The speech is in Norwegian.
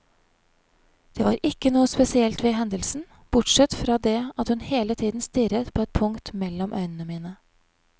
Det var ikke noe spesielt ved hendelsen, bortsett fra det at hun hele tiden stirret på et punkt mellom øynene mine.